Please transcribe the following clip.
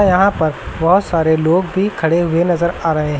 यहां पर बहुत सारे लोग भी खड़े हुए नजर आ रहे हैं।